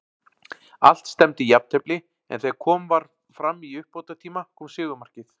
Allt stefndi í jafntefli, en þegar kom var fram í uppbótartíma kom sigurmarkið.